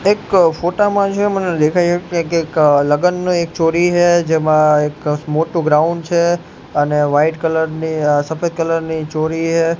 એક ફોટા માં જે મને દેખાય એ લગનનું એક ચોરી હે જેમાં એક મોટું ગ્રાઉન્ડ છે અને વાઈટ કલર ની અ સફેદ કલર ની ચોરી હે.